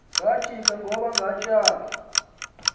kajiba kaoba katyhali